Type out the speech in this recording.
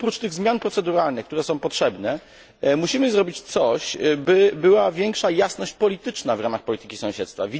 Oprócz tych zmian proceduralnych, które są potrzebne, musimy zrobić coś, by była większa jasność polityczna w ramach polityki sąsiedztwa.